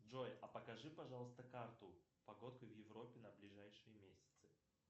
джой а покажи пожалуйста карту погодка в европе на ближайшие месяцы